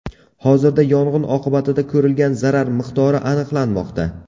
Hozirda yong‘in oqibatida ko‘rilgan zarar miqdori aniqlanmoqda.